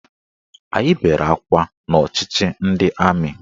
Anyị bere akwa n'ọchịchị ndị amị